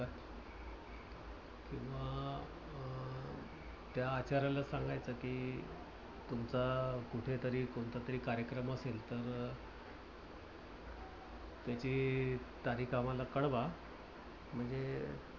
त्या आचाऱ्याला सांगायचं कि तुमचा कुठेतरी कोणतातरी कार्यक्रम असेल तर त्याची तारीख आम्हाला कलवा. म्हणजे